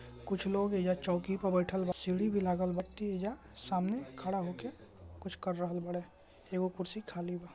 कुछ लोग एजा चौकी पे बइठल बा सीढ़ी भी लागल बा व्यक्ति एजा सामने खड़ा होके कुछ कर रहल बाड़े एगो कुर्सी खाली बा।